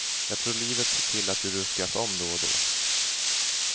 Jag tror livet ser till att du ruskas om då och då.